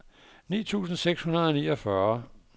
ni tusind seks hundrede og niogfyrre